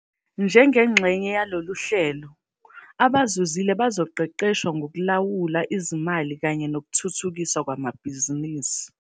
Njengengxenye yalolu hlelo, abazuzile bazoqeqeshwa ngokulawula izimali kanye nokuthuthukiswa kwamabhizinisi.